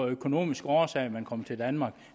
af økonomiske årsager at man kom til danmark